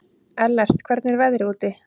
Ellert, hvernig er veðrið úti?